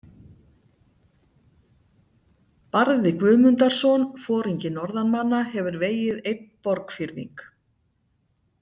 Barði Guðmundarson, foringi norðanmanna, hefur vegið einn Borgfirðing.